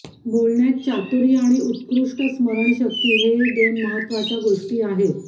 बोलण्यात चातुर्य आणि उत्कृष्ट स्मरण शक्ती हे दोन महत्त्वाच्या गोष्टी आहेत